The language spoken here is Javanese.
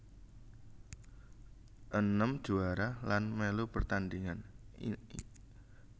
Enem juwara lan mèlu pertandhingan